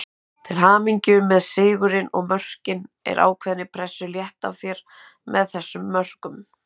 Til hamingju með sigurinn og mörkin, er ákveðni pressu létt af þér með þessum mörkum?